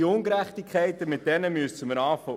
Diese Ungerechtigkeit muss ausgeräumt werden.